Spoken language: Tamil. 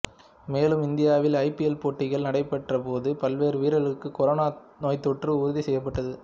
மேலும் இந்தியாவில் ஐபிஎல் போட்டிகள் நடைப்பெற்ற போது பல்வேறு வீரர்களுக்கு கொரோனா நோய்த்தொற்று உறுதிசெய்யப்பட்டது